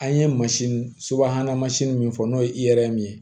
An ye mansin subahana mansin min fɔ n'o ye i yɛrɛ min ye